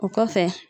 O kɔfɛ